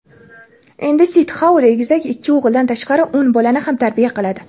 Endi Sitxoul egizak ikki o‘g‘ildan tashqari o‘n bolani ham tarbiya qiladi.